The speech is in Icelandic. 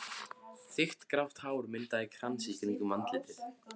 Þykkt grátt hár myndaði krans í kringum andlitið.